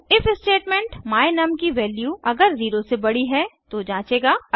if statement my num की value अगर 0 से बड़ी है तो जांचेगा